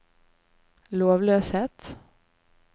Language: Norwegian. lovløshet